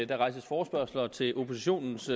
der rejses forespørgsler til oppositionens